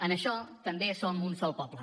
en això també som un sol poble